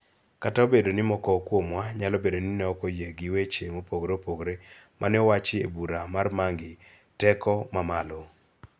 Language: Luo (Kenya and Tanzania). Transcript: Kata obedo ni moko kuomwa nyalo bedo ni ok oyie gi weche mopogore opogore ma ne owachi e bura mar mangi teko ma malo,